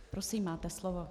Prosím, máte slovo.